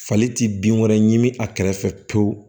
Fali ti bin wɛrɛ ɲini a kɛrɛfɛ pewu